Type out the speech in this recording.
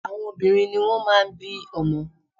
Àwọn obìnrin ni wọ́n máà ń bí ọmọ.